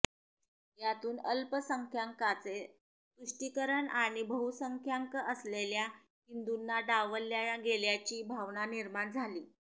यातून अल्पसंख्याकांचे तुष्टीकरण आणि बहुसंख्यांक असलेल्या हिंदूंना डावलल्या गेल्याची भावना निर्माण झाली